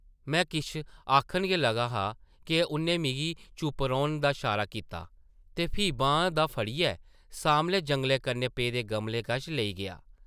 में किश आखन गै लगा हा’क उʼन्नै मिगी चुप्प रौह्ने दा शारा कीता ते फ्ही बांह् दा फड़ियै सामनै जंगले कन्नै पेदे गमले कश लेई गेआ ।